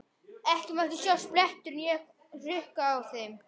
Ekki mátti sjást blettur né hrukka á þeim.